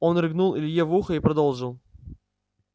он рыгнул илье в ухо и продолжил